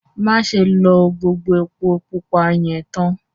Màṣẹ̀ ló gbogbo èpò púpà yẹn táán!